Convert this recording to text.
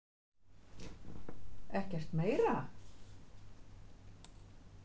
Ekkert meira?